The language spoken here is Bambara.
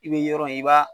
I bɛ yɔrɔ in i b'a